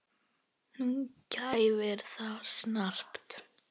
Hún kæfir það snarpt.